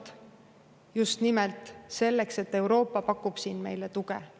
Tegin seda just nimelt sellepärast, et Euroopa pakub siin meile tuge.